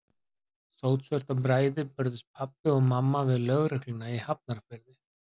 Sótsvört af bræði börðust pabbi og mamma við lögregluna í Hafnarfirði.